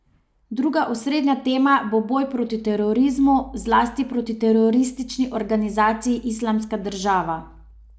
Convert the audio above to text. Druga osrednja tema bo boj proti terorizmu, zlasti proti teroristični organizaciji Islamska država.